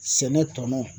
Sɛnɛ tɔnɔ